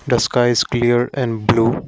the sky is clear and blue.